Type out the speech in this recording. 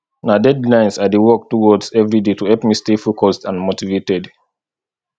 na deadlines i dey work towards every day to help me stay focused and motivated